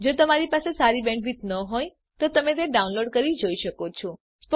જો તમારી બેન્ડવિડ્થ સારી ન હોય તો તમે ડાઉનલોડ કરી તે જોઈ શકો છો